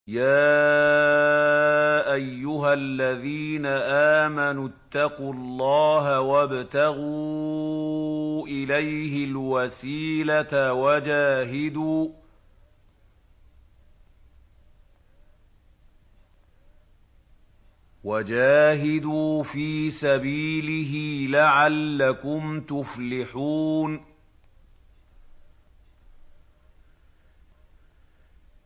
يَا أَيُّهَا الَّذِينَ آمَنُوا اتَّقُوا اللَّهَ وَابْتَغُوا إِلَيْهِ الْوَسِيلَةَ وَجَاهِدُوا فِي سَبِيلِهِ لَعَلَّكُمْ تُفْلِحُونَ